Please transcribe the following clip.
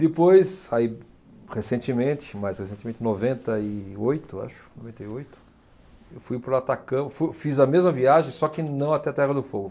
Depois, aí recentemente, mais recentemente, noventa e oito, eu acho, noventa e oito, eu fui para o Atacama, fui, fiz a mesma viagem, só que não até a Terra do Fogo.